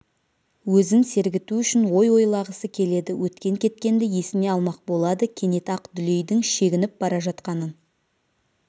өзін сергіту үшін ой ойлағысы келеді өткен-кеткенді есіне алмақ болады кенет ақ дүлейдің шегініп бара жатқанын